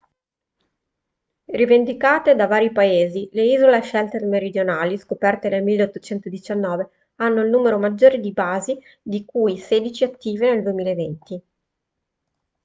rivendicate da vari paesi le isole shetland meridionali scoperte nel 1819 hanno il numero maggiore di basi di cui sedici attive nel 2020